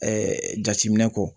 jateminɛ kɔ